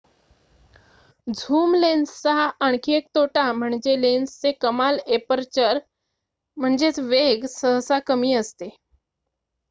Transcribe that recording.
zoom लेन्सचा आणखी एक तोटा म्हणजे लेन्सचे कमाल एपर्चर वेग सहसा कमी असते